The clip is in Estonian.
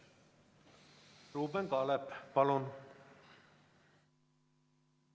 Ruuben Kaalep, palun!